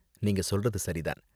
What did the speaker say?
நீங்க சொல்றது சரி தான்.